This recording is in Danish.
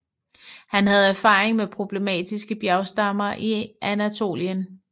Han havde erfaring med problematiske bjergstammer i Anatolien